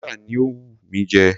Pizza ni ó wù mí jẹ.